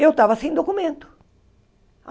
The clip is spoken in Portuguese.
Eu estava sem documento.